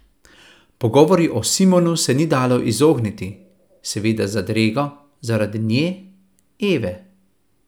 Pogovoru o Simonu se ni dalo izogniti, seveda z zadrego, zaradi nje, Eve.